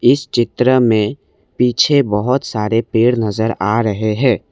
इस चित्र में पीछे बहोत सारे पेड़ नजर आ रहे है।